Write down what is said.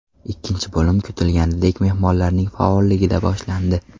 Ikkinchi bo‘lim kutilganidek mehmonlarning faolligida boshlandi.